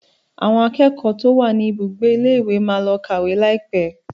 Àwọn akẹ́kọ̀ọ́ tí ó wà ní ibùgbé ilé ìwé máa lọ kàwé laipe